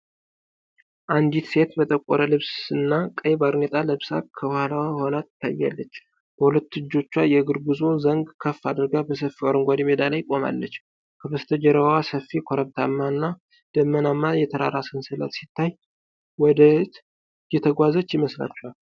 አንዲት ሴት በጠቆረ ልብስና ቀይ ባርኔጣ ለብሳ ከኋላዋ ሆና ትታያለች፤ በሁለት እጆቿ የእግር ጉዞ ዘንግ ከፍ አድርጋ በሰፊው አረንጓዴ ሜዳ ላይ ቆማለች። ከበስተጀርባዋ ሰፊ፣ ኮረብታማና ደመናማ የተራራ ሰንሰለት ሲታይ፣ ወደ ይት እየተጓዘች የመስላችኋል?